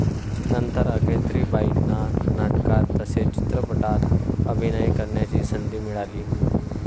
नंतर अख्तरीबाईंना नाटकांत तसेच चित्रपटांत अभिनय करण्याची संधी मिळाली.